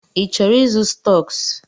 Ị chọrọ ịzụ stọks?